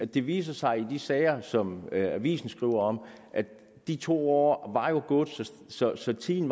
det viste sig i de sager som avisen skriver om at de to år var gået så så tiden